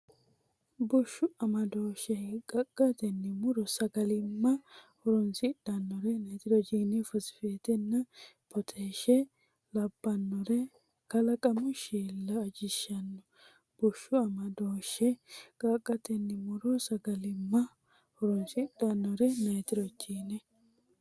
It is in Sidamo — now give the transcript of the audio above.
Bushshu amadooshshe hiiqqaqqatenni mu’ro sagalimma horoonsidhannre nitrogine, fosfetenna potaashe labbannore kalaqamu shiilla ajishshanno Bushshu amadooshshe hiiqqaqqatenni mu’ro sagalimma horoonsidhannre nitrogine,.